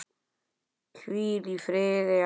Hvíl í friði, elsku Pétur.